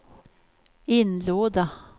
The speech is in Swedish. inlåda